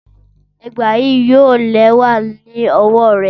Ẹgba yii yoo lẹwa ni ọwọ ọwọ rẹ